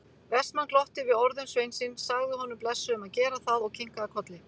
Vestmann glotti við orðum sveinsins, sagði honum blessuðum að gera það og kinkaði kolli.